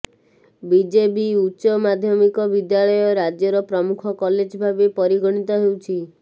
BJB ଉଚ୍ଚ ମାଧ୍ୟମିକ ବିଦ୍ୟାଳୟ ରାଜ୍ୟର ପ୍ରମୁଖ କଲେଜ ଭାବେ ପରିଗଣିତ ହେଉଛି